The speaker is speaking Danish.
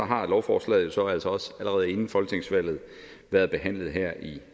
har lovforslaget jo så også allerede inden folketingsvalget været behandlet her i